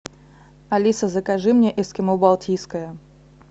алиса закажи мне эскимо балтийское